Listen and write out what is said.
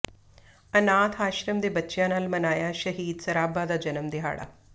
ਅਨਾਥ ਆਸ਼ਰਮ ਦੇ ਬੱਚਿਆਂ ਨਾਲ ਮਨਾਇਆ ਸ਼ਹੀਦ ਸਰਾਭਾ ਦਾ ਜਨਮ ਦਿਹਾੜਾ